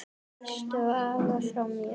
Kysstu afa frá mér.